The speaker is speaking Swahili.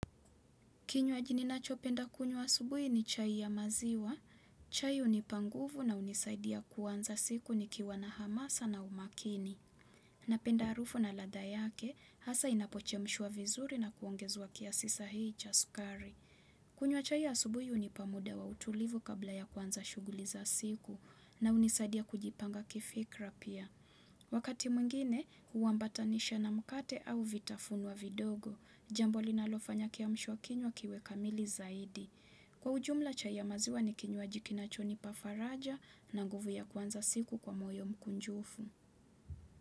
Kinywaji ninacho penda kunywa asubuhi ni chai ya maziwa, chai hunipanguvu na hunisaidia kuanza siku nikiwana hamasa na umakini. Na penda harufu na ladha yake, hasa inapochemshwa vizuri na kuongezwa kiasi sahihi chasukari. Kunywa chai ya asubuhi hunipamuda wa utulivu kabla ya kuanza shughuli za siku na hunisaidia kujipanga kifikra pia. Wakati mwingine, hua ambatanisha na mkate au vitafunwa vidogo. Jambo linalofanya kiamshwa kinywa kiwe kamili zaidi. Kwa ujumla chai ya maziwa ni kinywaji kinachoni pafaraja na nguvu ya kuanza siku kwa moyo mkunjufu.